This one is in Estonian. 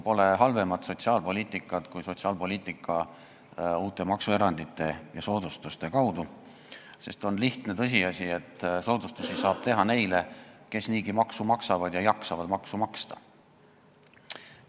Pole halvemat sotsiaalpoliitikat kui sotsiaalpoliitika, mida tehakse uute maksuerandite ja soodustuste kaudu, sest on lihtne tõsiasi, et soodustusi saab teha neile, kes niigi maksu maksavad ja jaksavad maksu maksta.